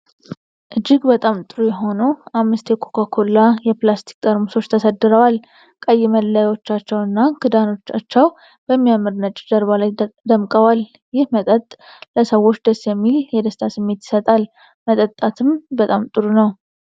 እጅግ በጣም ጥሩ የሆኑ አምስት የኮካ ኮላ የፕላስቲክ ጠርሙሶች ተሰድረዋል። ቀይ መለያዎቻቸው እና ክዳኖቻቸው በሚያምር ነጭ ጀርባ ላይ ደምቀዋል። ይህ መጠጥ ለሰዎች ደስ የሚል የደስታ ስሜት ይሰጣል፤ መጠጣትም በጣም ጥሩ ነው።